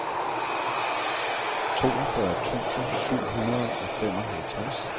toogfyrre tusind syv hundrede og femoghalvtreds